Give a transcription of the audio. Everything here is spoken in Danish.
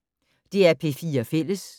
DR P4 Fælles